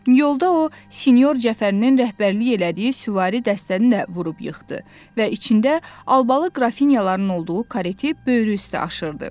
Yolda o senyor Cəfərinin rəhbərlik elədiyi süvari dəstəni də vurub yıxdı və içində albalı qrafinyaların olduğu karate böyrü üstə aşırdı.